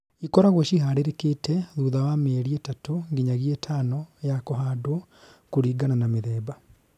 Īkoragwo ciĩ harĩrĩkĩte thutha wa mĩeri ĩtatũ nginyagia ĩtano ya kũhandwo kũringana na mĩthemba